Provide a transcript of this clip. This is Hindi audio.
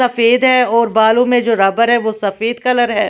सफेद है और बालों में जो रबर है वो सफेद कलर है।